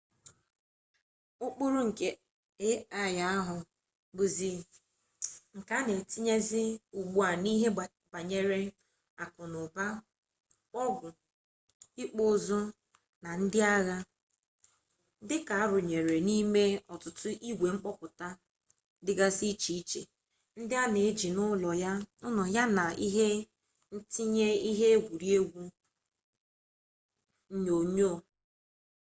ukpuru nke ai ahu buzi nke ana etinyezi ugbua n'ihe banyere aku-n'uba ogwu ikpu-uzu na ndi-agha dika arunyere n'ime ututu igwe komputa digasi iche-iche ndi ana eji n'ulo ya na ihe ntinye ihe egwuregwu onyonyo